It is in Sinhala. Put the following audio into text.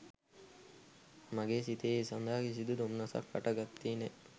මගේ සිතේ ඒ සඳහා කිසිදු දොම්නසක් හට ගත්තේ නැහැ.